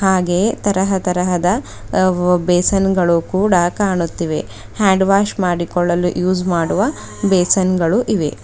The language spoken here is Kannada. ಹಾಗೆಯೆ ತರಹ ತರಹದ ಅ ಬೇಸನ್ ಗಳು ಕೂಡ ಕಾಣುತ್ತಿವೆ ಹ್ಯಾಂಡ್ ವಾಶ್ ಮಾಡಿಕೊಳ್ಳಲು ಯೂಸ್ ಮಾಡುವ ಬೇಸನ್ ಗಳು ಇವೆ .